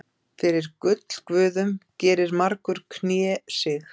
Fyrir gullguðum gerir margur knésig.